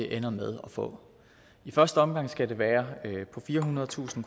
ender med at få i første omgang skal det være på firehundredetusind